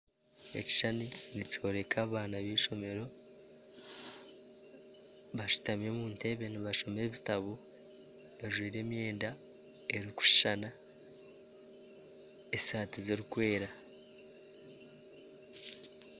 Ekishushani nikyoreka abaana b'eishomero bashutami omu ntebe nibashoma ebitabo bajwaire emyenda erikushushana esaati zirikwera